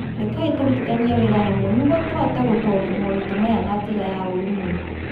Rekei tũrutithanie wĩra hamwe nĩguo tũhote gũtooria moritũ maya na njĩra ya ũrũmwe